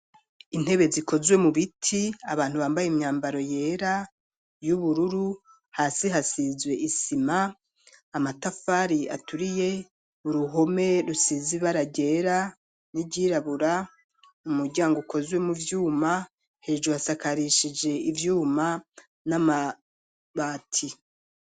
Intebe, zikozwe mu biti, abantu bambaye imyambaro yera, y'ubururu; hasi hasizwe isima, amatafari aturiye, uruhome rusize ibara ryera, n'iryirabura, umuryango ukozwe mu vyuma; hejuru asakarishije ivyuma, n'amabati.